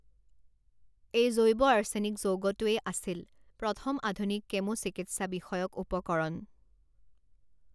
এই জৈৱ আৰ্চেনিক যৌগটোৱেই আছিল প্ৰথম আধুনিক কেমো চিকিৎসা বিষয়ক উপকৰণ।